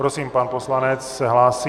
Prosím, pan poslanec se hlásí.